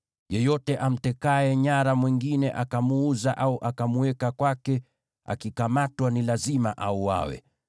“Yeyote amtekaye nyara mwingine akamuuza au akamweka kwake, akikamatwa ni lazima auawe.